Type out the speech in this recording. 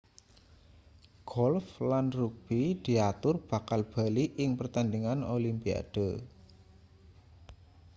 golf lan rugbi diatur bakal bali ing pertandingan olimpiade